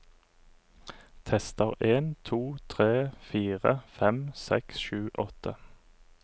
Tester en to tre fire fem seks sju åtte